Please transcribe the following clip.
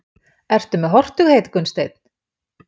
Ertu með hortugheit Gunnsteinn?